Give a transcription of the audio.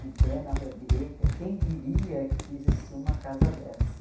Em plena rua direita, quem diria que existia uma casa dessa?